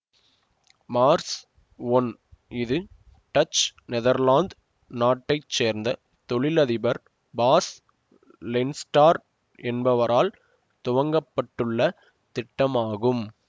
Mars one இது Dutch Netherlands நாட்டை சேர்ந்த தொழில் அதிபர் பாஸ் லென்ஸ்டார்ப் என்பவரால் துவங்கப்பட்டுள்ள திட்டம் ஆகும்